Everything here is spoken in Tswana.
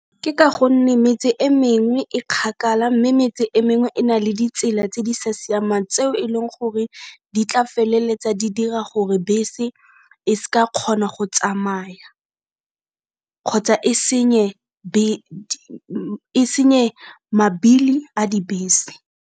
Ke ka gonne metse e meng e kgakala mme metse e mengwe e na le ditsela tse di sa siamang tseo e leng gore di tla feleletsa di dira gore bese e seka kgona go tsamaya kgotsa e senye mabili a dibese.